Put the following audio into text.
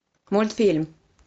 мультфильм